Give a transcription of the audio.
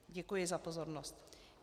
Děkuji za pozornost.